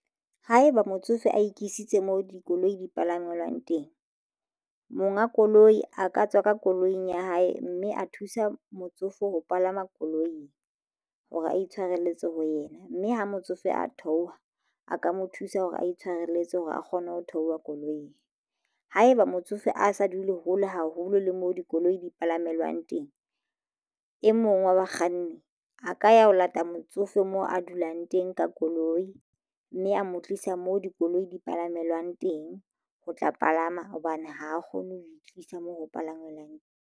Haeba motsofe a e kisitse moo dikoloi di palangwelwang teng monga koloi a ka tswa ka koloing ya hae mme a thusa motsofe ho palama koloing hore a itshwareletsa ho yena mme ha motsofe a theoha a ka mo thusa hore a itshwarelletsa hore a kgone ho theoha koloing. Haeba motsofe a sa dule hole haholo le moo dikoloi di palamelwang teng e mong wa bakganni a ka ya ho lata motsofe mo a dulang teng ka koloi mme a mo tlisa moo dikoloi di palamelwang teng. Ho tla palama hobane ha a kgone ho itlisa moo ho palangwelwang teng.